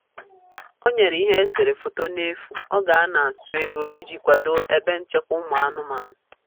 O nyere ihe eserese foto n'efu oge a na-atụ ego iji kwado ebe nchekwa ụmụ anụmanụ.